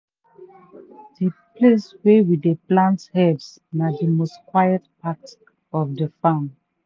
the place wey we dey plant herbs na the most quiet part of the farm.